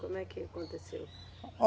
Como é que aconteceu?